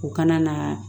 U kana na